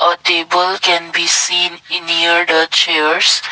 a table can be seen near the chairs.